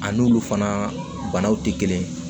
A n'olu fana banaw tɛ kelen ye